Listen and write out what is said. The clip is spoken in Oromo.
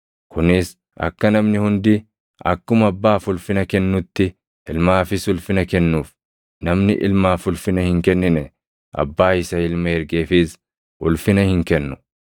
kunis akka namni hundi akkuma Abbaaf ulfina kennutti Ilmaafis ulfina kennuuf. Namni Ilmaaf ulfina hin kennine, Abbaa isa Ilma ergeefis ulfina hin kennu.